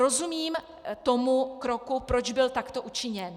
Rozumím tomu kroku, proč byl takto učiněn.